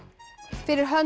fyrir hönd